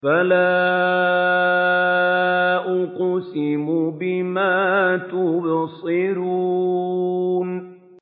فَلَا أُقْسِمُ بِمَا تُبْصِرُونَ